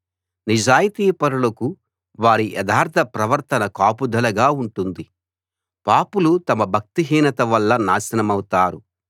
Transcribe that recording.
నిజాయితీపరులకు వారి యథార్థ ప్రవర్తన కాపుదలగా ఉంటుంది పాపులు తమ భక్తిహీనత వల్ల నాశనమౌతారు